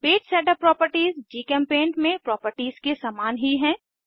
page setup properties जीचेम्पेंट में properties के समान ही है